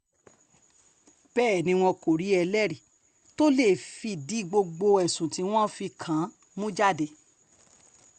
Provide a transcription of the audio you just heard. bẹ́ẹ̀ ni wọn kò rí ẹlẹ́rìí tó lè fìdí gbogbo ẹ̀sùn tí wọ́n fi kàn án mú jáde